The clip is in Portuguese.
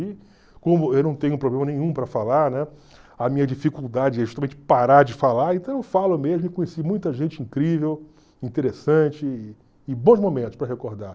E como eu não tenho problema nenhum para falar, né, a minha dificuldade é justamente parar de falar, então eu falo mesmo e conheci muita gente incrível, interessante e bons momentos para recordar.